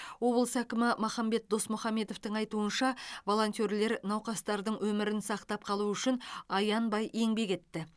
облыс әкімі махамбет досмұхамбетовтің айтуынша волонтерлер науқастардың өмірін сақтап қалу үшін аянбай еңбек етті